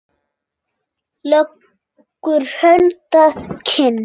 Leggur hönd að kinn.